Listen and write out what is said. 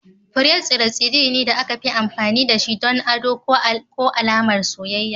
Fure tsire-tsire ne da aka fi amfani da shi don ado ko alamar soyayya.